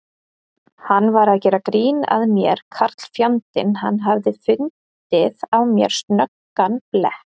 Hann var að gera grín að mér karlfjandinn, hann hafði fundið á mér snöggan blett.